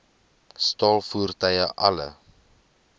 staal voertuie alle